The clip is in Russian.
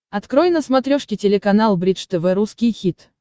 открой на смотрешке телеканал бридж тв русский хит